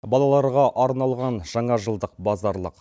балаларға арналған жаңа жылдық базарлық